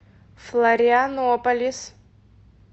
флорианополис